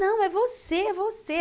Não, é você, é você.